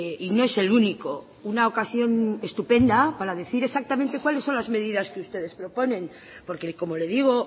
y no es el único una ocasión estupenda para decir exactamente cuáles son las medidas que ustedes proponen porque como le digo